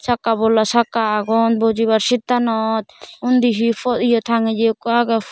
sakka bola sakka agon bojibar sit tanot undi he po ye tangiye ekko aage.